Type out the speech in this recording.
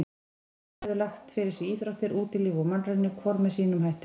Báðir höfðu lagt fyrir sig íþróttir, útilíf og mannraunir, hvor með sínum hætti.